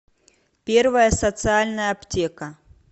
первая социальная аптека